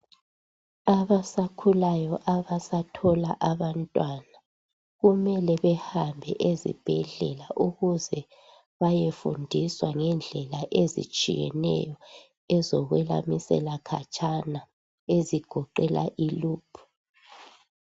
Abasakhulayo, abasathola abantwana. Kumele bahambe ezibhedlela bayefunda ngendlela zokulamisela khatshana, ezigoqela iloop.